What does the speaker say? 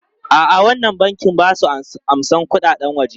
A'a, wannan bankin ba su amsan kuɗaɗen waje.